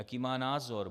Jaký má názor?